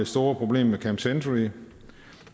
store problem med camp century